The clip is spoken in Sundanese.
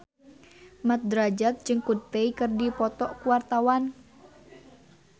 Mat Drajat jeung Coldplay keur dipoto ku wartawan